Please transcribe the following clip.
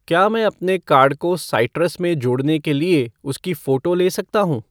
क्या मैं अपने कार्ड को साइट्रस में जोड़ने के लिए उसकी फ़ोटो ले सकता हूँ?